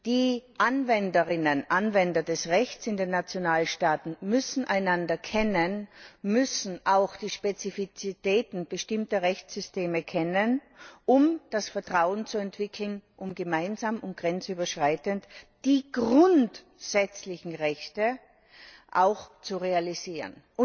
Die Anwenderinnen und Anwender des Rechts in den Nationalstaaten müssen einander kennen, müssen auch die Spezifitäten bestimmter Rechtssysteme kennen, um das Vertrauen zu entwickeln, um gemeinsam und grenzüberschreitend die grundsätzlichen Rechte auch zu realisieren.